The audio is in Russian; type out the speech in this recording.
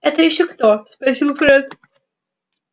это ещё кто спросил фред